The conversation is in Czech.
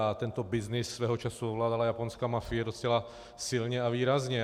A tento byznys svého času ovládala japonská mafie docela silně a výrazně.